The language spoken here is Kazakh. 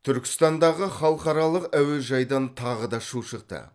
түркістандағы халықаралық әуежайдан тағы да шу шықты